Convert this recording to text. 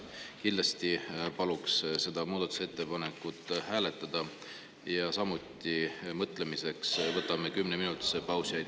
Kindlasti paluks seda muudatusettepanekut hääletada, samuti võtame mõtlemiseks kümneminutilise pausi.